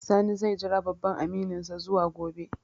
Sani zai jira babban amininsa zuwa gobe